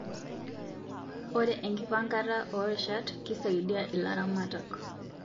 Ore enkipangata orishat kisaidia ilaramatak